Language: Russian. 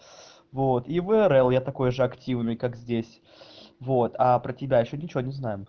вот и в ерэл я такой же активной как здесь вот а про тебя ещё ничего не знаем